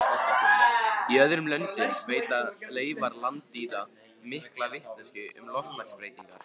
Í öðrum löndum veita leifar landdýra mikla vitneskju um loftslagsbreytingar.